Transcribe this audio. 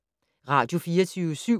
Radio24syv